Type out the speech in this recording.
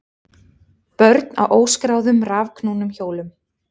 Börn á óskráðum rafknúnum hjólum